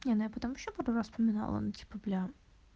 не но я потом ещё пару раз вспоминал ну типа бля